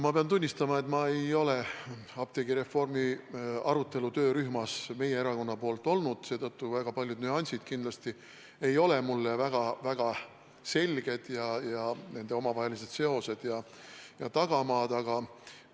Ma pean tunnistama, et ma ei ole apteegireformi arutelu töörühmas meie erakonna esindajana olnud, seetõttu ei ole paljud nüansid ega nende omavahelised seosed ja tagamaad mulle väga selged.